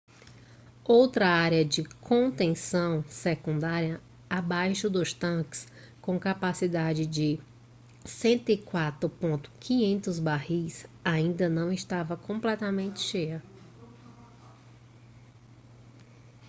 outra área de contenção secundária abaixo dos tanques com capacidade de 104.500 barris ainda não estava completamente cheia